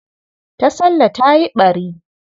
Tasallah ta yi ɓari.